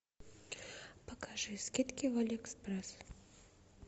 покажи скидки в алиэкспресс